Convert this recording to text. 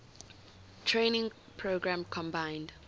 training program combined